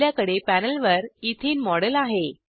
आपल्याकडे पॅनेलवर एथेने मॉडेल आहे